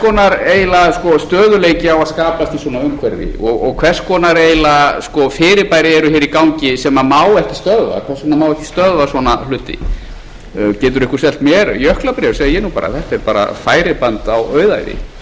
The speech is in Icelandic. konar eiginlega stöðugleiki á að skapast í svona umhverfi og hvers konar eiginlega fyrirbæri eru hér í gangi sem má ekki stöðva hvers svona má ekki stöðva svona hluti getur einhver selt mér jöklabréf segi ég nú bara þetta er bara færiband á auðæfi hvers vegna eru ekki